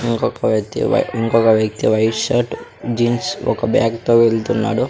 ఇంకొక వ్యక్తి వై ఇంకొక వ్యక్తి వైట్ షర్ట్ జీన్స్ ఒక బ్యాగ్ తో వెళ్తున్నాడు.